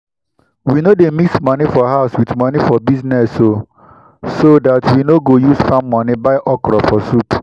we no dey mix money for house with money for business o so that we no go use farm money buy okro for soup.